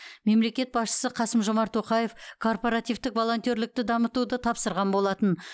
мемлекет басшысы қасым жомарт тоқаев корпоративтік волонтерлікті дамытуды тапсырған болатын